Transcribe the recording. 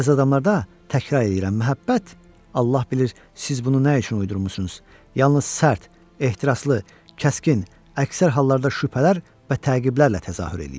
Bəzi adamlarda, təkrar eləyirəm, məhəbbət, Allah bilir siz bunu nə üçün uydurmusunuz, yalnız sərt, ehtiraslı, kəskin, əksər hallarda şübhələr və təqiblərlə təzahür eləyir.